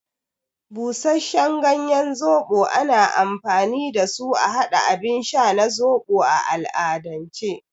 Busasshen ganyen zoɓo ana amfani dasu a haɗa abin sha na zoɓo a al'adance.